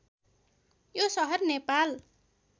यो सहर नेपाल